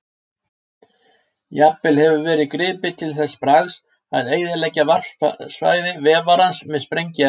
Jafnvel hefur verið gripið til þess bragðs að eyðileggja varpsvæði vefarans með sprengiefni.